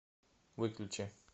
выключи